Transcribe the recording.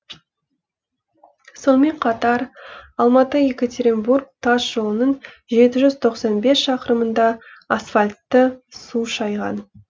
сонымен қатар алматы екатеринбург тас жолының жеті жүз тоқсан бес шақырымында асфальтты су шайған